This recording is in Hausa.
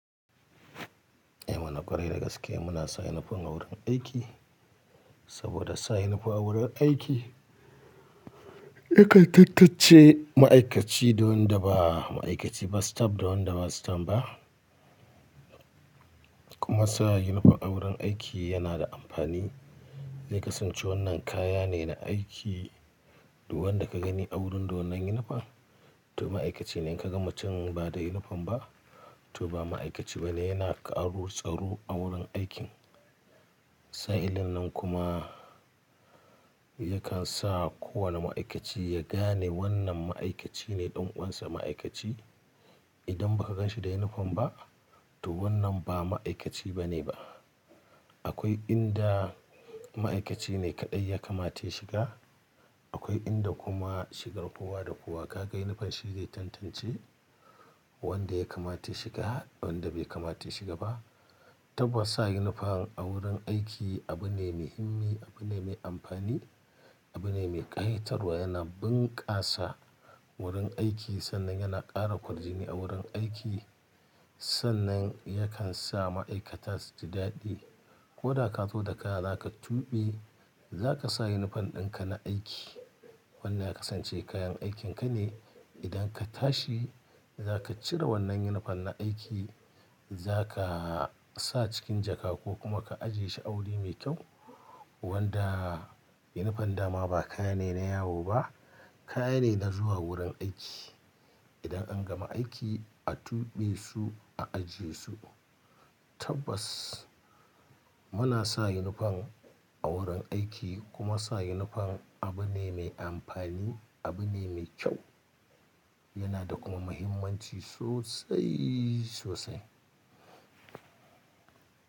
Eh mana ƙwarai da gaske muna sa yunifom a wurin aiki, saboda sa yunifom a wurin aiki ya kai tattace ma'aikaci da wanda ba ma'aikaci, ba staff da wanda ba staff ba. Kuma sa yunifom a wurin aiki yana da amfani, ya kasance wannan kaya ne na aiki, wanda ka gani a wurin da wannan yunifom to ma'aikaci ne, in ka ga mutum ba da yunifom ba to ba ma'aikaci ba ne, yana ka'aru-tsaru a wurin aikin. Sa'ilin nan kuma yakan sa kowane ma'aikaci ya gane wannan ma'aikaci ne ɗan uwansa ma'aikaci. Idan ba ka gan shi da yunifom ba to wannan ba ma'aikaci ba ne ba. Akwai inda ma'aikaci ne kaɗai ya kamata ya shiga, akwai inda kuma shigar kowa da kowa. Ka ga yunifom shi zai tantance wanda ya kamata ya shiga da wanda bai kamata ya shiga ba. Tabbas sa yunifom a wurin aiki abu ne me himmi, abu ne me amfani, abu ne me ƙa'itarwa, yana bunƙasa wurin aiki sannan yana ƙara kwajini a wurin aiki. Sannan yakan sa ma'aikata su ji daɗi. Ko da ka zo da kaya za ka tuɓe za ka sa yunifom ɗin ka na aiki wanda ya kasance kayan aikin ka ne. Idan ka tashi za ka cire wannan yunifom na aiki za ka sa cikin jaka ko kuma ka ajiye shi a wuri mai kyau, wanda yunifom dama ba kaya ne na yawo ba, kaya ne na zuwa wurin aiki. Idan an gama aiki a tuɓe su, a ajiye su. Tabbas muna sa yunifom a wurin aiki kuma sa yunifom abu ne mai amfani, abu ne mai kyau. Yana da kuma muhimmanci sosai, sosai.